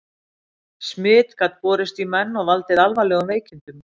Smit gat borist í menn og valdið alvarlegum veikindum.